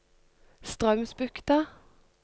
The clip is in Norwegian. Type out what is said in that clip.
Straumsbukta